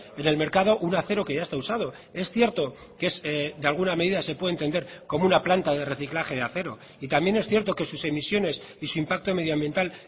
en el mercado un acero que ya está usado es cierto que es de alguna medida se puede entender como una planta de reciclaje de acero y también es cierto que sus emisiones y su impacto medioambiental